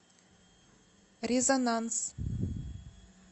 резонанс